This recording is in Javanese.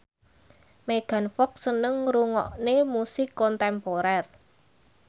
Megan Fox seneng ngrungokne musik kontemporer